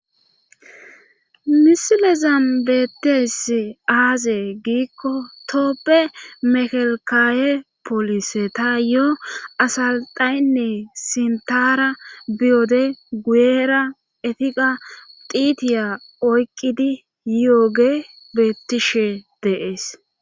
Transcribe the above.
misile zan beettiyasi aaze giikko tooppe mekalkaawe polise ta yo asalxaynne sintara biyode guyera etiqa tiitiya oyqqidi yooge bettishe de,es